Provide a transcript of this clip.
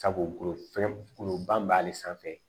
Sabu fɛngɛ goloba b'ale sanfɛ